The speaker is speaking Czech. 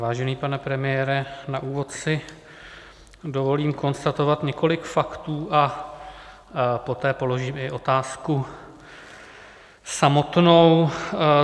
Vážený pane premiére, na úvod si dovolím konstatovat několik faktů a poté položím i otázku samotnou.